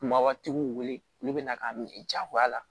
Kumaba tigiw wele olu bɛ na k'a minɛ jagoya la